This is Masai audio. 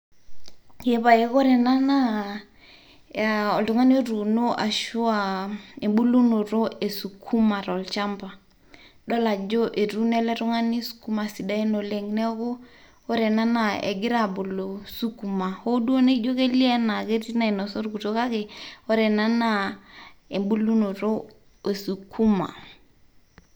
Ee pae kore ena naa oltung'ani otuuno ashu aa embulunoto e sukuma tolchamba, idol ajo etuuno ele tung'ani sukuma sidain oleng'. Neeku ore ena naa egira abulu sukuma hoo duo idol enaa etii nainosa orkurto kake ore ena naa embulunoto e sukuma.